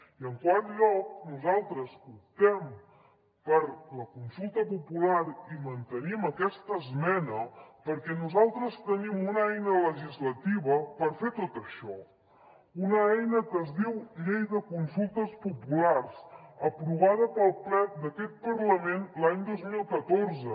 i en quart lloc nosaltres optem per la consulta popular i mantenim aquesta esmena perquè nosaltres tenim una eina legislativa per fer tot això una eina que es diu llei de consultes populars aprovada pel ple d’aquest parlament l’any dos mil catorze